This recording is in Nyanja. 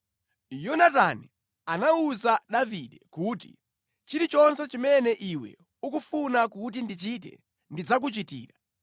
Yonatani anawuza Davide kuti, “Chilichonse chimene iwe ukufuna kuti ndichite, ndidzakuchitira.”